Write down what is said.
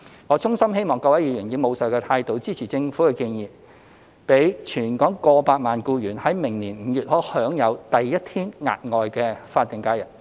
我衷心希望各位議員以務實的態度，支持政府的建議，讓全港過百萬名僱員在明年5月可享有第一天額外的法定假日。